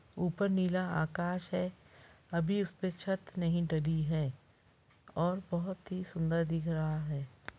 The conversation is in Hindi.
ऊपर नीला आकाश है अभी उस पे छत नहीं ढली है और बहुत ही सुन्दर लग रहा है।